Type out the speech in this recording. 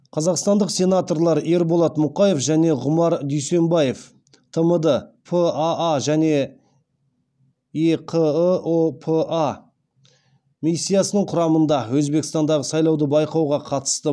қазақстандық сенаторлар ерболат мұқаев және ғұмар дүйсембаев тмд паа және еқыұ па миссиясының құрамында өзбекстандағы сайлауды байқауға қатысты